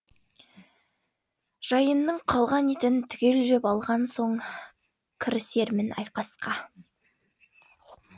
жайынның қалған етін түгел жеп алған соң кірісермін айқасқа